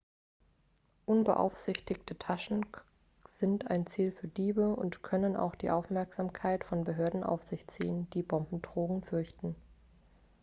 unbeaufsichtigte taschen sind ein ziel für diebe und können auch die aufmerksamkeit von behörden auf sich ziehen die bombendrohungen fürchten